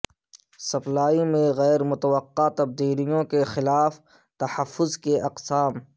supply میں غیر متوقع تبدیلیوں کے خلاف تحفظ کی اقسام